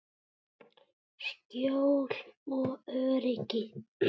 Skjól og öryggi.